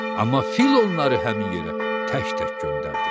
Amma fil onları həmin yerə tək-tək göndərdi.